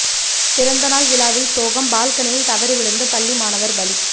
பிறந்த நாள் விழாவில் சோகம் பால்கனியில் தவறி விழுந்து பள்ளி மாணவா் பலி